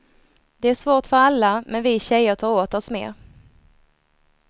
Det är svårt för alla men vi tjejer tar åt oss mer.